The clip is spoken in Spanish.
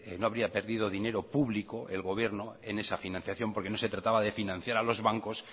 no habría perdido dinero público el gobierno en esa financiación porque no se trataba de financiar a los bancos